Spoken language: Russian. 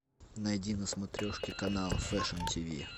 найди на смотрешке канал фэшн тиви